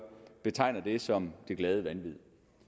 betegner det som det glade vanvid